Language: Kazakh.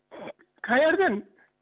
қаерден